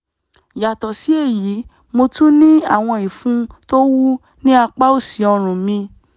yàtọ̀ sí èyí mo tún ní àwọn ìfun tó wú ní apá òsì ọrùn mi